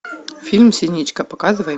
фильм синичка показывай